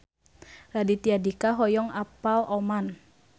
Raditya Dika hoyong apal Oman